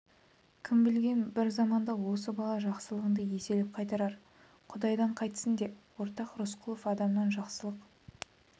кім білген бір заманда осы бала жақсылығыңды еселеп қайтарар құдайдан қайтсын де ортақ рысқұлов адамнан жақсылық